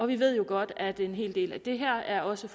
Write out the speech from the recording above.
vi ved jo godt at en hel del af det her også